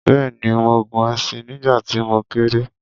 bẹ́ẹ̀ni, mo gun ẹṣin nígbà tí mo kéré